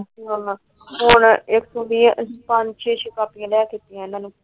ਹੁਣ ਪੰਜ ਛੇ ਕਾਪੀਆਂ ਲੈ ਕੇ ਦਿਤੀਆਂ ਇਹਨਾਂ ਨੇ। ਉਤੋਂ ਨਿਆਣੇ ਵੀ ਮੰਗਦੇ ਪੈਸੇ।